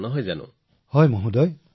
সঠিক মহোদয়